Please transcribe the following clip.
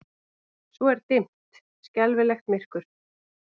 Svo er dimmt, skelfilegt myrkur.